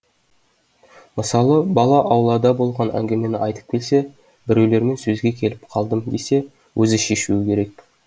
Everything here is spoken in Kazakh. мысалы бала аулада болған әңгімені айтып келсе біреулермен сөзге келіп қалдым десе өзі шешуі керек